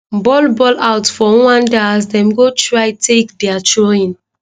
ball ball out for rwanda as dem go try take dia throwin